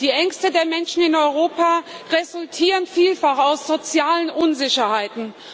Die Ängste der Menschen in Europa resultieren vielfach aus sozialen Unsicherheiten.